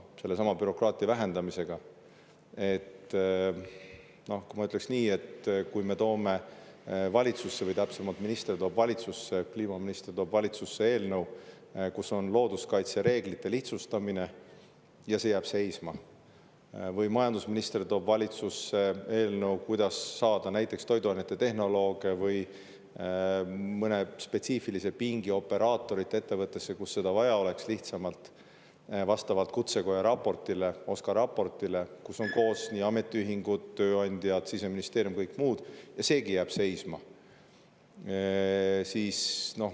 Sellestsamast bürokraatia vähendamisest rääkides ma ütleksin nii, et kui kliimaminister tõi valitsusse eelnõu looduskaitsereeglite lihtsustamiseks, siis see jäi seisma, või kui majandusminister tõi valitsusse eelnõu, kuidas saada lihtsamalt näiteks toiduainetehnolooge või mõne spetsiifilise pingi operaatoreid ettevõttesse, kus neid vaja oleks, vastavalt Kutsekoja OSKA raportile, kusjuures seal on hõlmatud ametiühingud, tööandjad, Siseministeerium ja kõik muud, siis seegi jäi seisma.